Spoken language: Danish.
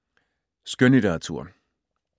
Skønlitteratur